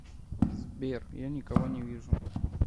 сбер я никого не вижу